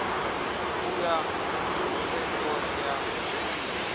u ya tsengoni ya beili